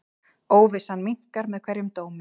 Óvissan minnkar með hverjum dómi.